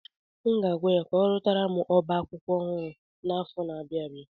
Aga m agwa ya ka ọrụtara m oba akwụkwọ ọhụrụ n'afọ na-abịa abịa.